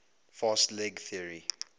fast leg theory